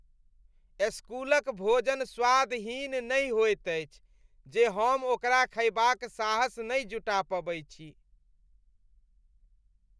स्कूलक भोजन स्वादहीन नहि होइत अछि जे हम ओकरा खयबाक साहस नहि जुटा पबै छी।